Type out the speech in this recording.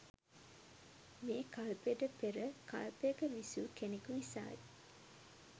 මේ කල්පයට පෙර කල්පයක විසූ කෙනෙකු නිසායි.